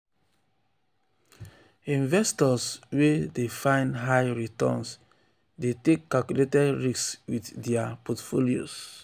investors wey wey dey find high returns dey take calculated risks with dia portfolios.